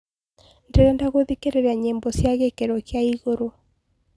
ndĩrenda gũthĩkĩrĩrĩa nyĩmbo cĩa gikiro kĩa ĩgũrũ